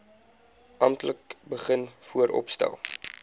amptelik begin vooropstel